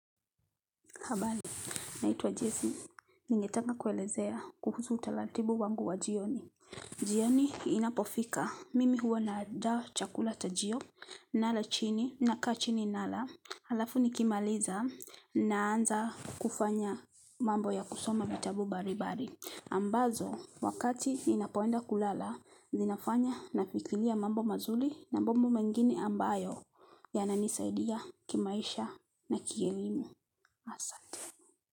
Habali naituwa Jessi ningetanga kuelezea kuhusu utalatibu wangu wa jioni jioni inapofika mimi huwa nandaa chakula chajioni nala chini naka chini nala halafu nikimaliza naanza kufanya mambo ya kusoma vitabu bari bari ambazo wakati ninapoenda kulala zinafanya nafikilia mambo mazuli na bombo mengini ambayo yananisaidia kimaisha na kielimu asanteni.